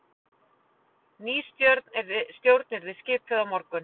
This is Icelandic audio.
Ný stjórn yrði skipuð á morgun